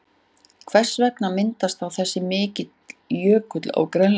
Hvers vegna myndaðist þá þessi mikli jökull á Grænlandi?